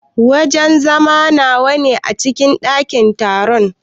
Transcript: Wajen zama nawa ne a cikin dakin taron?